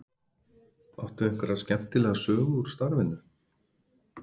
Áttu einhverja skemmtilega sögu úr starfinu?